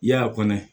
I y'a kɔnɔ